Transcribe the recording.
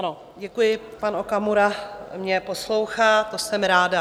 Ano, děkuji, pan Okamura mě poslouchá, to jsem ráda.